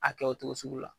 A kɛ o cogo sugu la